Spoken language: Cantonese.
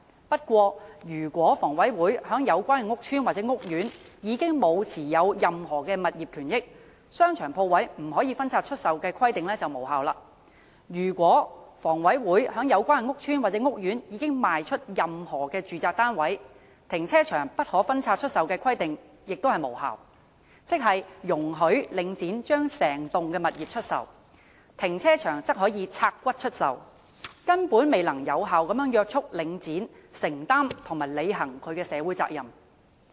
不過，如果房委會在有關屋邨或屋苑已沒有持有任何物業權益，商場鋪位不可分拆出售的規定便無效；如果房委會在有關屋邨或屋苑已賣出任何住宅單位，停車場不可分拆出售的規定亦屬無效，即是容許領展將整棟物業出售，停車場則可"拆骨"出售，根本未能有效約束領展承擔和履行其社會責任。